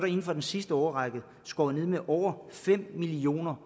inden for de sidste år skåret ned med over fem millioner